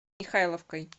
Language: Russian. михайловкой